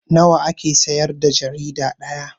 Nawa ake siyar da jarida ɗaya?